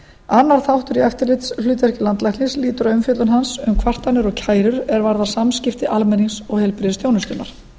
annar þáttur í eftirlitshlutverki landlæknis lýtur að umfjöllun hans um kvartanir og kærur er varða samskipti almennings og heilbrigðisþjónustunnar